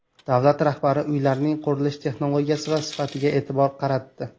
Davlat rahbari uylarning qurilish texnologiyasi va sifatiga e’tibor qaratdi.